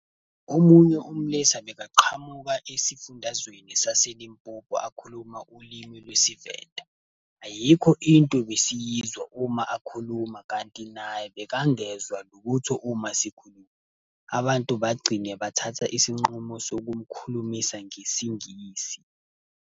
Omunye umlisa bekaqhamuka esifundazweni saseLimpopo akhuluma ulimi lwesiVenda. Ayikho into besiyizwa uma akhuluma kanti naye bekangezwa lutho uma sikhuluma. Abantu bagcine bathatha isinqumo sokumkhulumisa ngesiNgisi.